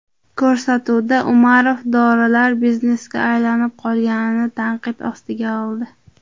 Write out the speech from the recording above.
Ko‘rsatuvda Umarov dorilar biznesga aylanib qolganini tanqid ostiga oldi.